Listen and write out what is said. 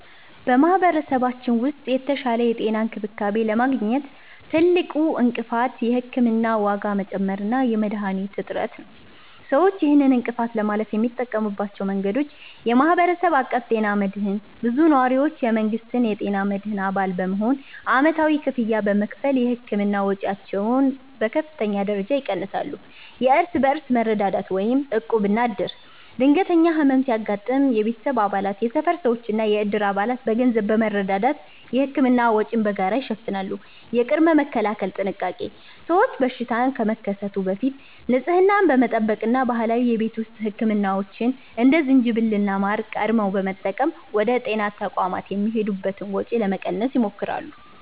በማኅበረሰባችን ውስጥ የተሻለ የጤና እንክብካቤ ለማግኘት ትልቁ እንቅፋት የሕክምና ዋጋ መጨመር እና የመድኃኒቶች እጥረት ነው። ሰዎች ይህንን እንቅፋት ለማለፍ የሚጠቀሙባቸው መንገዶች፦ የማኅበረሰብ አቀፍ ጤና መድህን (CBHI)፦ ብዙ ነዋሪዎች የመንግሥትን የጤና መድህን አባል በመሆን ዓመታዊ ክፍያ በመክፈል የሕክምና ወጪያቸውን በከፍተኛ ደረጃ ይቀንሳሉ። የእርስ በርስ መረዳዳት (ዕቁብና ዕድር)፦ ድንገተኛ ሕመም ሲያጋጥም የቤተሰብ አባላት፣ የሰፈር ሰዎችና የዕድር አባላት በገንዘብ በመረዳዳት የሕክምና ወጪን በጋራ ይሸፍናሉ። የቅድመ-መከላከል ጥንቃቄ፦ ሰዎች በሽታ ከመከሰቱ በፊት ንጽህናን በመጠበቅ እና ባህላዊ የቤት ውስጥ ሕክምናዎችን (እንደ ዝንጅብልና ማር) ቀድመው በመጠቀም ወደ ጤና ተቋማት የሚሄዱበትን ወጪ ለመቀነስ ይሞክራሉ።